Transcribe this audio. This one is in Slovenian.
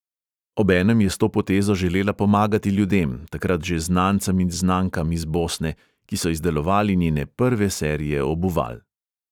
Obenem je s to potezo želela pomagati ljudem, takrat že znancem in znankam iz bosne, ki so izdelovali njene prve serije obuval.